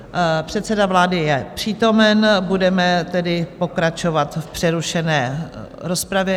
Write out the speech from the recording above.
Předseda vlády je přítomen, budeme tedy pokračovat v přerušené rozpravě.